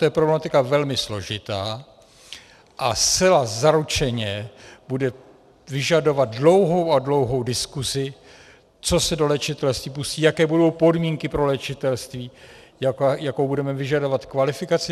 To je problematika velmi složitá a zcela zaručeně bude vyžadovat dlouhou a dlouhou diskusi, co se do léčitelství pustí, jaké budou podmínky pro léčitelství, jakou budeme vyžadovat kvalifikaci.